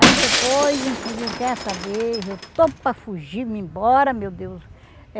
Aí depois, eu digo, quer saber, eu estou para fugir, me embora, meu Deus.